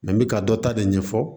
n bɛ ka dɔ ta de ɲɛfɔ